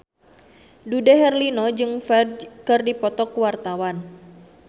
Dude Herlino jeung Ferdge keur dipoto ku wartawan